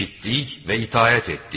Eşitdik və itaət etdik.